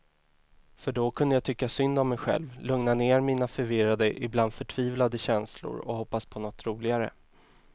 För då kunde jag tycka synd om mej själv, lugna ner mina förvirrade, ibland förtvivlade känslor och hoppas på något roligare.